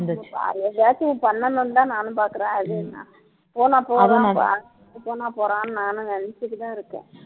எதையாச்சும் பண்ணணும்னுதான் நானும் பாக்குறேன் அது என்ன போனா போறான் போனா போறான்னு நானும் நினைச்சுட்டுதான் இருக்கேன்